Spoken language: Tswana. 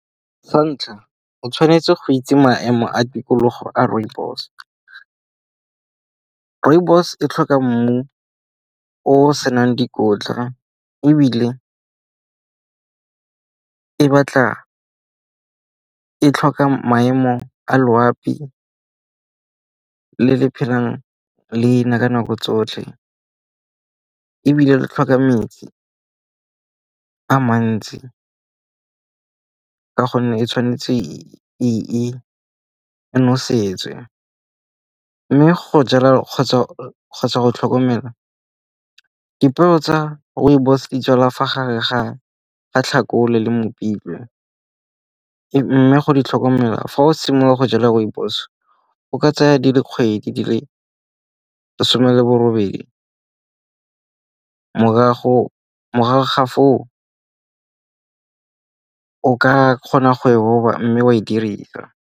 Sa ntlha o tshwanetse go itse maemo a tikologo a rooibos. Rooibos e tlhoka mmu o senang dikotla ebile e tlhoka maemo a loapi le le phelang le na ka nako tsotlhe. Ebile le tlhoka metsi a mantsi ka gonne e tshwanetse e nosetswe. Mme go jala kgotsa go tlhokomela dipeo tsa rooibos di jalwa fa gare ga Tlhakole le Mopitlwe mme go di tlhokomela fa o simola go jala rooibos o ka tsaya di le kgwedi di le some le bo robedi. Morago ga foo, o ka kgona go e roba mme wa e dirisa.